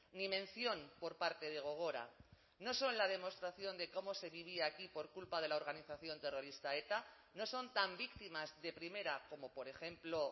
ni mención por parte de gogora no son la demostración de cómo se vivía aquí por culpa de la organización terrorista eta no son tan víctimas de primera como por ejemplo